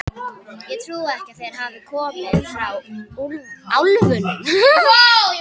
Ég trúi ekki að þeir hafi komið frá álfunum.